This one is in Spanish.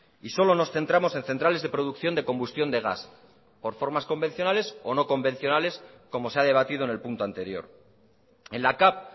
y solo nos centramos en centrales de producción de combustión de gas por formas convencionales o no convencionales como se ha debatido en el punto anterior en la cav